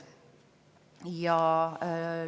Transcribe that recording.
[Jätan vahelt lõigu ära.